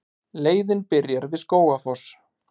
Leiðin byrjar við Skógafoss.